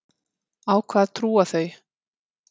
Á hvað trúa þau?